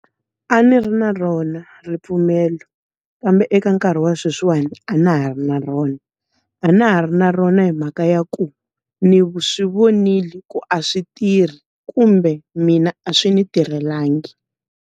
A ndzi ri na rona ripfumelo. Kambe eka nkarhi wa sweswiwani, a na ha ri na rona. A na ha ri na rona hi mhaka ya ku, ndzi swi vonile ku a swi tirhi kumbe mina a swi ndzi tirhelangi.